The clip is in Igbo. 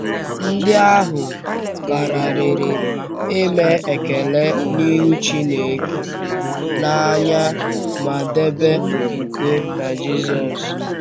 Ndị ahụ kàràrịrị ime ekele n’ịhụ̀ Chínèké n’anya ma debe okwùkwè n’Jisùs.